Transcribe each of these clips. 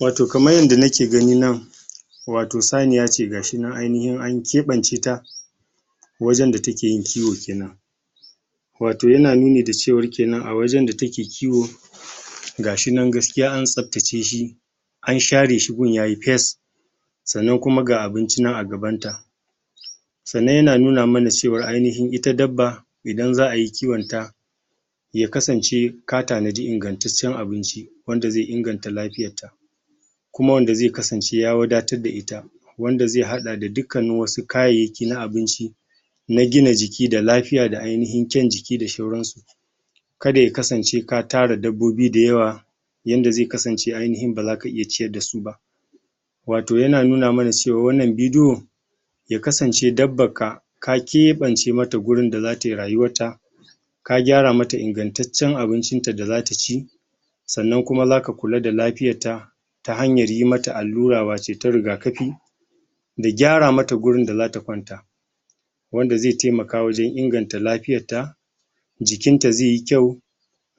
Wato kaman yanda na ke gani nan wato saniya ce, gashi nan ainihin anyi keban cita wajen da ta ke yin kiwo kenan wato ya na nuni da cewar kenan a wajen da ta ke kiwo gashi nan gaskiya an sabta ce shi an share shi gurin yayi piyes sannan kuma ga abunci nan a gaban ta sannan ya na nuna manacewar ainihin ita daba idan zaa yi kiwon ta ya kasance, ka tanadi ingantaccen abinci wanda ze inganta lafiyar ta kuma wanda ze kasance ya wadatar da ita wanda ze hada da dukkan na wasu kayaki na abinci na gina jiki da lafiya da ainihin kyaun jiki da sauran su kada ya kasance ka tara dabbobi dayawa yanda zai kasance aininhin ba za ka iya ciyar da su ba. Wato ya na nuna mana cewa wannan video ya kasance dabba ka ka keɓance mata gurin da za ta yi rayuwar ta ta hanyar yi mata allura wace ta rigakafi da gyara mata gurin da zata kwanta wanda ze taimaka wajen inganta lafiyar ta jikin ta ze yi kyau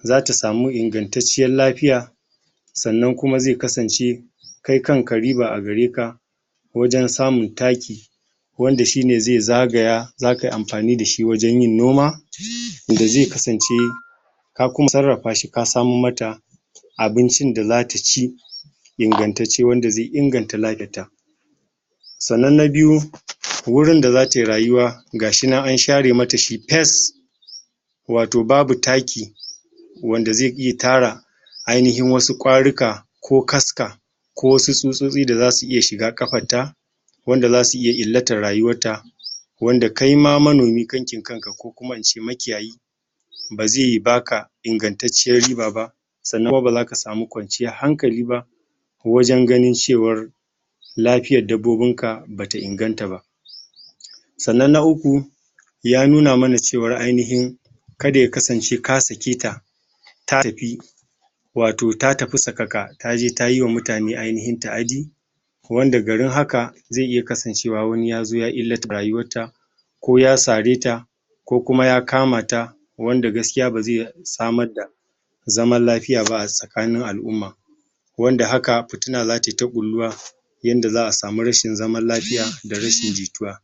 za ta samu ingantacciyar lafiya sannan kuma zai kasance, kai kan ka riba a gareka wajen samun takki wanda shi ne zai zagaya za ka yi amfani da shi wajen yin noma da zai kasance ka kuma tsarafa shi, ka samo ma ta abinci da za ta ci ingantacce wanda zai inganta Sannan na biyu, wurin da za ta yi rayuwa gashi nan an share ma ta shi pes wato babu takki, wanda zai iya tara ainihin wasu kwaruka ko kaska ko su tsutsotsi da za su iya shiga kafar ta wanda za su iya ilatar rayuwar ta wanda kai ma manomi kan kin kanka ko kuma in ce maki yayi ba ze ba ka ingantaciyar riɓa ba sannan kuma ba za ka samu kwanciyar hankali ba wajen gani cewar lafiyar dabbobin ka ba ta inganta ba. Sannan na uku, ya nuna mana cewa ainihin kada ya kasance ka sake ta, ta tafi wato ta tafi sakaka, ta je ta yi wa mutane ainihin taadi wanda garin haka zai iya kasancewa wani ya zo ya rayuwar ta ko ya tsare ta, ko kuma ya kama ta wanda gaskiya ba zai samar da zamar lafiya ba a sakanin alumma wanda haka futina za ta yi ta kuluwa yanda zaa samu rashin zamar lafiya da rashin jituwa.